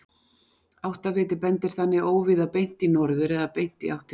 Áttaviti bendir þannig óvíða beint í norður eða beint í átt til segulskautsins.